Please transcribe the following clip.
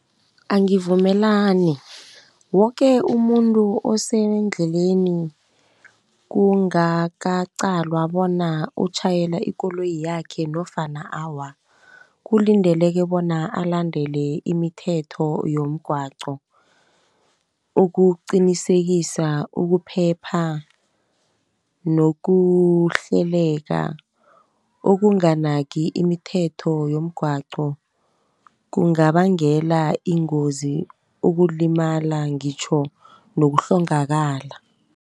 Angivumelani, woke umuntu osendleleni kungakaqalwa bona utjhayela ikoloyi yakhe nofana awa, kulindeleke bona alandele imithetho yomgwaqo. Ukuqinisekisa ukuphepha, nokuhleleka okunganaki imithetho yomgwaqo, kungabangela ingozi, ukulimala ngitjho nokuhlongakala.